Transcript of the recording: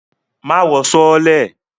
Má wọ sọọ́lẹ̀!